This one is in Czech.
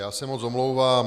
Já se moc omlouvám.